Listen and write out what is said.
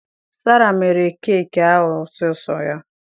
Sarah mere keki ahụ sọọsọ ya